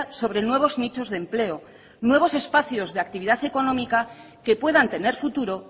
sobre nuevos nichos de empleo nuevos espacios de actividad económica que puedan tener futuro